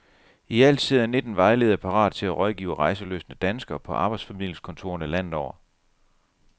Ialt sidder nitten vejledere parate til at rådgive rejselystne danskere på arbejdsformidlingskontorerne landet over.